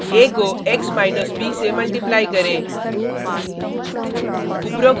a को x minus b से multiply करें